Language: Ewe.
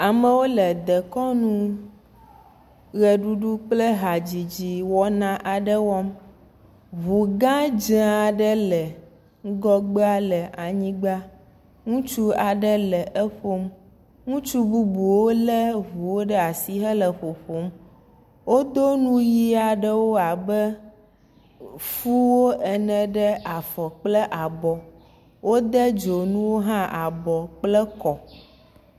Amewo le dekɔnu ʋeɖuɖu kple hadzidzi kɔnu aɖe wɔm, ŋu gã dzee aɖe le anyigba, ŋutsu aɖe le eƒom, ŋutsu bubuwo lé ŋuwo ɖe asi hele ƒoƒom, wodo nu ʋɛ̃aɖewo abe fuwo ene ɖe afɔ kple abɔ, wode dzonuwo hã abɔ kple kɔ.